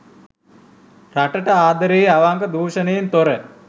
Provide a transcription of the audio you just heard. රටට ආදරේ අවංක දුෂණයෙන් තොර